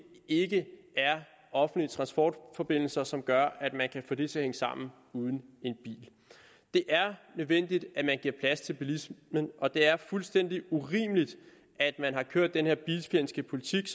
ikke er offentlige transportforbindelser som gør at man kan få det til at hænge sammen uden en bil det er nødvendigt at man giver plads til bilismen og det er fuldstændig urimeligt at man har kørt denne bilfjendske politik